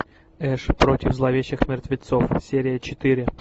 эш против зловещих мертвецов серия четыре